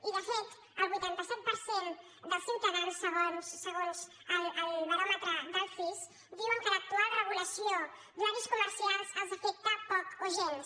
i de fet el vuitanta set per cent dels ciutadans segons el baròmetre del cis diuen que l’actual regulació d’horaris comercials els afecta poc o gens